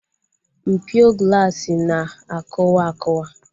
Mpio glaasi na akụwa akuwa